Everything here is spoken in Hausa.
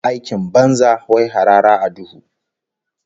Aikin banza, wai harara a duhu